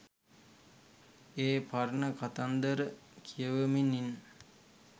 ඒ පරණ කතන්දර කියවමින් ඉන්න.